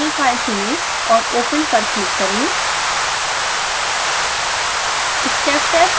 proportional file चुनें और open पर क्लिक करें